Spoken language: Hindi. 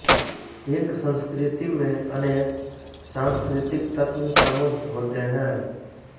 एक संस्कृति में अनेक सांस्कृतिक तत्व समूह होते हैं